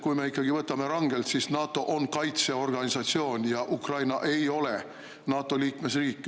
Kui me võtame rangelt, siis NATO on kaitseorganisatsioon ja Ukraina ei ole NATO liikmesriik.